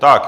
Tak.